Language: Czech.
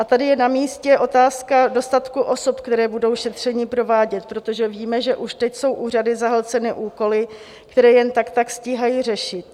A tady je na místě otázka dostatku osob, které budou šetření provádět, protože víme, že už teď jsou úřady zahlceny úkoly, které jen tak tak stíhají řešit.